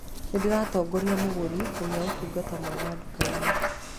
Nĩ ndĩratongoria mũgũri kũgĩa ũtungata mwega nduka-inĩ